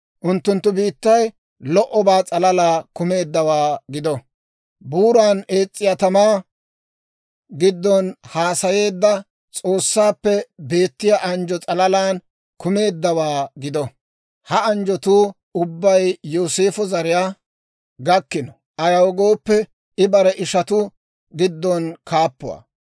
Unttunttu biittay lo"obaa s'alalaa kumeeddawaa gido; buuran ees's'iyaa tamaa giddon haasayeedda, S'oossaappe beettiyaa anjjo s'alalaan kumeeddawaa gido. Ha anjjotuu ubbay Yooseefo zariyaa gakkino; ayaw gooppe, I bare ishanttu giddon kaappuwaa.